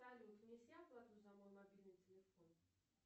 салют внеси оплату за мой мобильный телефон